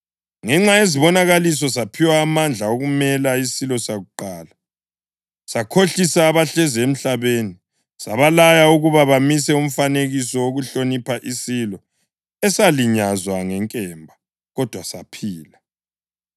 Ngenxa yezibonakaliso saphiwa amandla okumela isilo sakuqala, sakhohlisa abahlezi emhlabeni. Sabalaya ukuba bamise umfanekiso wokuhlonipha isilo esalinyazwa ngenkemba, kodwa saphila.